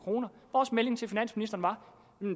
vores melding til finansministeren var